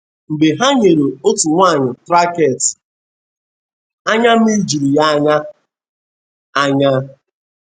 Mgbe ha nyere otu nwanyị traktị, anya mmiri juru ya anya. anya.